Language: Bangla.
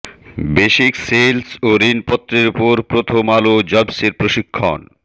বেসিক সেলস ও ঋণপত্রের ওপর প্রথম আলো জবসের প্রশিক্ষণ